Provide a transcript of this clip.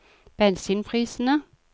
bensinprisene